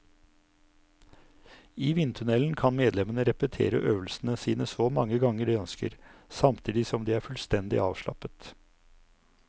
I vindtunnelen kan medlemmene repetere øvelsene sine så mange ganger de ønsker, samtidig som de er fullstendig avslappet.